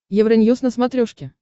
евроньюз на смотрешке